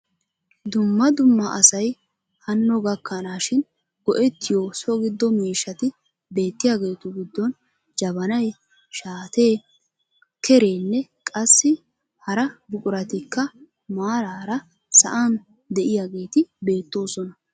Dumma dumma asay hanno gakkanaashin go"ettiyo so giddo miishshati beettiyaagetu giddon jabanay, shaatee, kereenne qassi hara buquratikka maraara sa'an de'iyaageti beettoosna.